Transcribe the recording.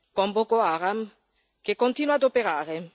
con Boko Haram che continua ad operare.